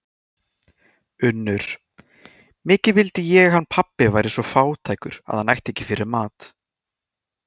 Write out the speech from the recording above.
UNNUR: Mikið vildi ég hann pabbi væri svo fátækur að hann ætti ekki fyrir mat.